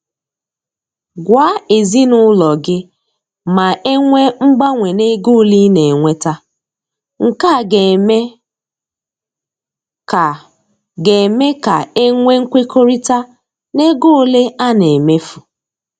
Gwa ezinaụlọ gị ma enwee mgbanwe na ego ole ị na-enweta, nke a ga-eme ka ga-eme ka e nwee nkwekọrịta n'ego ole a na emefu.